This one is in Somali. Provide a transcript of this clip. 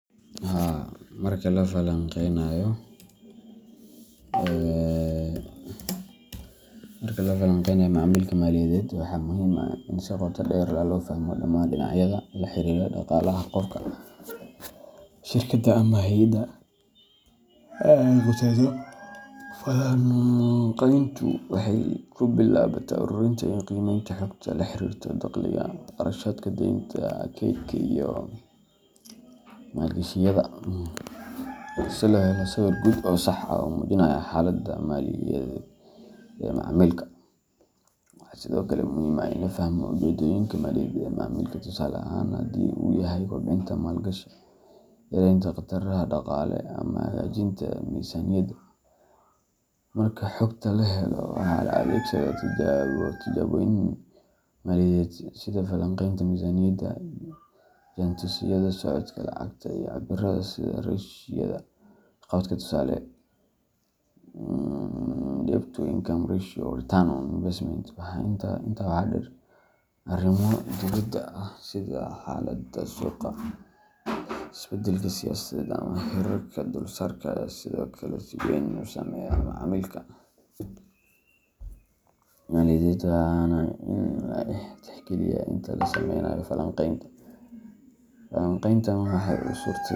Haa marka la falaqeynayo macaamilka maaliyadeed, waxaa muhiim ah in si qoto dheer loo fahmo dhammaan dhinacyada la xiriira dhaqaalaha qofka, shirkadda, ama hay’adda ay khusayso. Falanqayntu waxay ku bilaabataa ururinta iyo qiimeynta xogta la xiriirta dakhliga, kharashaadka, deynta, kaydka, iyo maalgashiyada, si loo helo sawir guud oo sax ah oo muujinaya xaaladda maaliyadeed ee macaamilka. Waxaa sidoo kale muhiim ah in la fahmo ujeeddooyinka maaliyadeed ee macaamilka tusaale ahaan, haddii uu yahay kobcinta maalgashi, yaraynta khataraha dhaqaale, ama hagaajinta miisaaniyadda. Marka xogta la helo, waxaa la adeegsadaa tijaabooyin maaliyadeed sida falanqaynta miisaaniyadda, jaantusyada socodka lacagta, iyo cabbiraadaha sida ratio-yada waxqabadka tusaale, debt-to-income ratio or return on investment. Intaa waxaa dheer, arrimo dibadda ah sida xaaladda suuqa, isbedelka siyaasadeed, ama heerarka dulsaarka ayaa sidoo kale si weyn u saameeya macaamilka maaliyadeed, waana in la tixgeliyaa inta la sameynayo falanqaynta. Falanqayntan waxay u suurto.